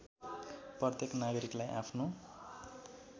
प्रत्येक नागरिकलाई आफ्नो